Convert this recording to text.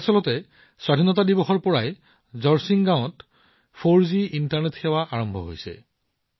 প্ৰকৃততে স্বাধীনতা দিৱসত এই মাহত জৰ্চিং গাঁৱত ৪জি ইণ্টাৰনেট সেৱা আৰম্ভ হৈছে